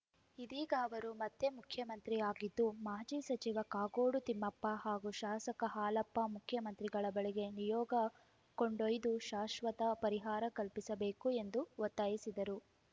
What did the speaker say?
ಇದೀಗ ಅವರು ಮತ್ತೆ ಮುಖ್ಯಮಂತ್ರಿ ಆಗಿದ್ದು ಮಾಜಿ ಸಚಿವ ಕಾಗೋಡು ತಿಮ್ಮಪ್ಪ ಹಾಗೂ ಶಾಸಕ ಹಾಲಪ್ಪ ಮುಖ್ಯಮಂತ್ರಿಗಳ ಬಳಿಗೆ ನಿಯೋಗ ಕೊಂಡೊಯ್ದು ಶಾಶ್ವತ ಪರಿಹಾರ ಕಲ್ಪಿಸಬೇಕು ಎಂದು ಒತ್ತಾಯಿಸಿದರು